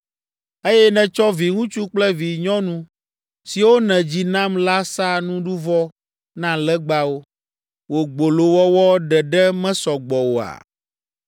“Eye nètsɔ viŋutsu kple vinyɔnu siwo nèdzi nam la sa nuɖuvɔ na legbawo. Wò gbolowɔwɔ ɖeɖe mesɔ gbɔ oa?